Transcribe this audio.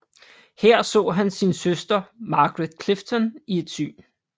Her så han sin søster Margaret Clifton i et syn